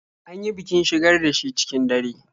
An yi bikin shigar da shi cikin dare.